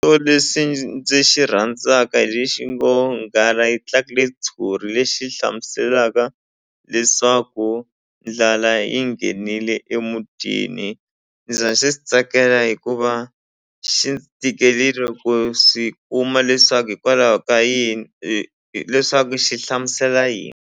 lexi ndzi xi rhandzaka hi lexi ngo nghala yi tlakule ntshuri lexi hlamuselaka leswaku ndlala yi nghenile emutini ndzi xi tsakela hikuva xi ndzi tikelini ku swi kuma leswaku hikwalaho ka yini leswaku xi hlamusela yini.